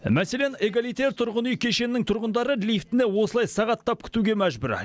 мәселен эгалите тұрғын үй кешенінің тұрғындары лифтіні осылай сағаттап күтуге мәжбүр